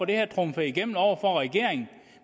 det her trumfet igennem over for regeringen